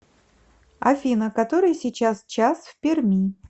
афина который сейчас час в перми